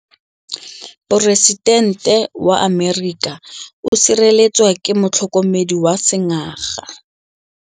Poresitêntê wa Amerika o sireletswa ke motlhokomedi wa sengaga.